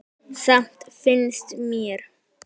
Samt finnst mér.